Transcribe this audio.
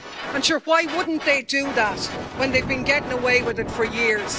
And sure why wouldn't they do that when they've been getting away with it for years?